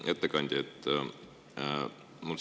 Hea ettekandja!